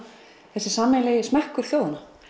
þessum sameiginlega smekk þjóðanna